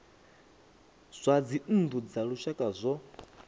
zwa dzinnu dza lushaka zwo